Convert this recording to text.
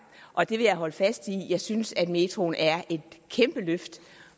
og det vil jeg holde fast i jeg synes metroen er et kæmpe løft